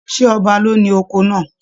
Ṣe ọba ló ní oko náà?